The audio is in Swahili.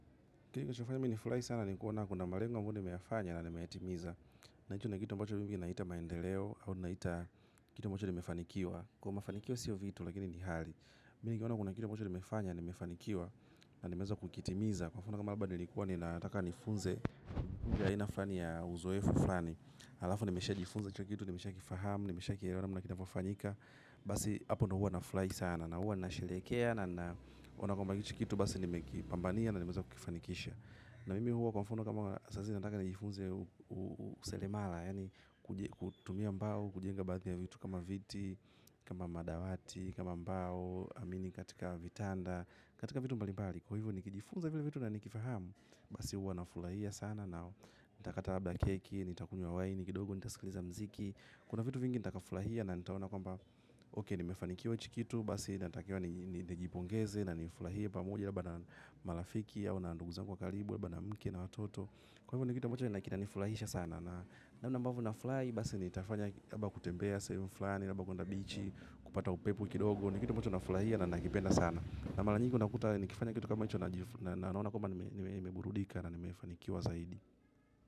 Kinachofanya mimi nifurahi sana ni kuona kuna malengo ambayo nimeyafanya na nimeyatimiza. Na hicho ni kitu ambacho mimi naita maendeleo au naita kitu ambacho nimefanikiwa. Kwa mafanikio sio vitu lakini ni hali. Mini nikiona kuna kitu ambacho nimefanya na nimefanikiwa na nimeweza kukitimiza. Kwa mfano kwamba nilikuwa nilikuwa nataka nifunze aina fulani ya uzoefu fulani. Halafu nimeshajifunza hicho kitu, nimeshakifahamu, nimeshakielewa namna kinavyofanyika. Basi hapo ndio huwa nafurahi sana na huwa na sherehekea naona kwamba hichi kitu basi nimekipambania. Na mimi huwa kwa mfano kama saa zingine nataka nijifunze useremala, yaani kutumia mbao, kujenga baadhi ya vitu kama viti, kama madawati, kama mbao, amini katika vitanda, katika vitu mbali mbali. Kwa hivyo nikijifunza vile vitu na nikifahamu, basi huwa nafurahia sana na nitakata labda keki, nitakunywa wa waini, kidogo, nitasikiliza muziki. Kuna vitu vingi nita kafurahia na nitaona kwamba ok nimefanikiwa hichi kitu. Basi nitakiwa nijipongeze na nifurahie pamoja labda na marafiki au na ndugu zangu wa kalibu labda mke na watoto. Kwa hivyo ni kitu ambacho ambacho kinanifurahisha sana. Namna ambavyo nafurahi basi nitafanya kutembea sehemu fulani labda kwenda bichi. Kupata upepo kidogo ni kitu ambacho nafurahia na nakipenda sana. Na mara nyingi unakuta nikifanya kitu kama hicho. Na naona kwamba nimeburudika. Na nimefanikiwa zaidi.